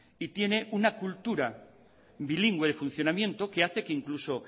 y tiene una cultura bilingüe de funcionamiento que hace que incluso